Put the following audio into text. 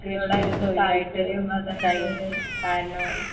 കൃഷിയോടായിരുന്നു താൽപ്പര്യം ഒരു ടൈമില് കാരണം.